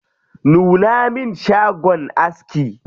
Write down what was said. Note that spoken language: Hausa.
Nuna min shagon aski.